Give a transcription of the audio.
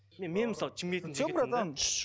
мен мысалы шымкенттің жігітімін де